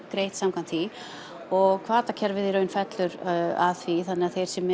greitt samkvæmt því og hvatakerfið fellur að því þannig að þeir sem